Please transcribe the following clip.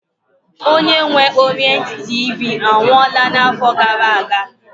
Onye nwe Orient TV anwụọla na-afọ gara-aga.